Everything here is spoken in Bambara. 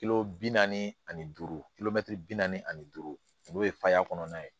bi naani ani duuru bi naani ani duuru n'o ye faya kɔnɔna ye